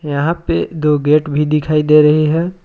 यहां पे दो गेट भी दिखाई दे रही है।